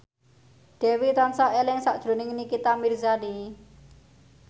Dewi tansah eling sakjroning Nikita Mirzani